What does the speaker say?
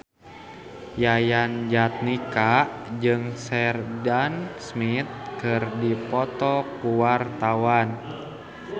Yayan Jatnika jeung Sheridan Smith keur dipoto ku wartawan